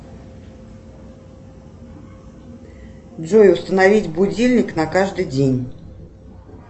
джой установить будильник на каждый день